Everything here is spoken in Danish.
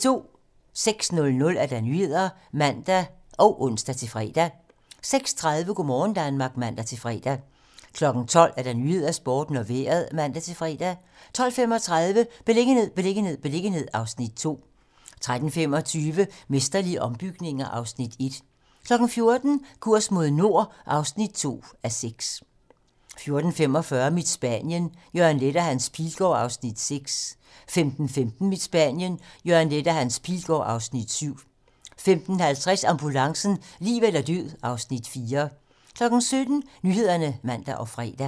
06:00: Nyhederne (man og ons-fre) 06:30: Go' morgen Danmark (man-fre) 12:00: 12 Nyhederne, Sporten og Vejret (man-fre) 12:35: Beliggenhed, beliggenhed, beliggenhed (Afs. 2) 13:25: Mesterlige ombygninger (Afs. 1) 14:00: Kurs mod nord (2:6) 14:45: Mit Spanien - Jørgen Leth og Hans Pilgaard (Afs. 6) 15:15: Mit Spanien - Jørgen Leth og Hans Pilgaard (Afs. 7) 15:50: Ambulancen - liv eller død (Afs. 4) 17:00: Nyhederne (man og fre)